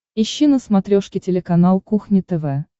ищи на смотрешке телеканал кухня тв